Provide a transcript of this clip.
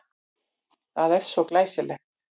Það er svo glæsilegt.